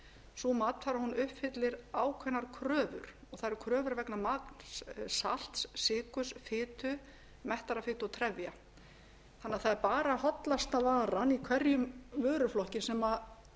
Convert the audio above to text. sú matvara uppfyllir ákveðnar kröfur og það eru kröfur vegna magns salts sykurs fitu mettaðrar fitu og trefja það er bara hollasta varan í hverjum vöruflokki sem